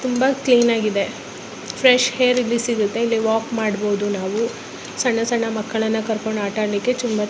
ತುಂಬಾ ಕ್ಲೀನ್ ಆಗಿದೆ fresh air ಇಲ್ಲಿ ಸಿಗುತ್ತದೆ ಇಲ್ಲಿ ವಾಕ್ ಮಾಡಬಹುದು ನಾವು ಸಣ್ಣ ಸಣ್ಣ ಮಕ್ಕಳನ್ನು ಕರೆದುಕೊಂಡು ಆಟ ಆಡಲಿಕ್ಕೆ--